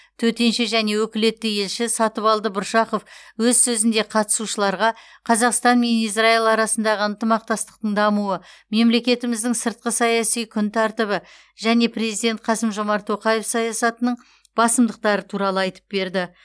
төтенше және өкілетті елші сатыбалды бұршақов өз сөзінде қатысушыларға қазақстан мен израил арасындағы ынтымақтастықтың дамуы мемлекетіміздің сыртқы саяси күн тәртібі және президент қасым жомарт тоқаев саясатының басымдықтары туралы айтып берді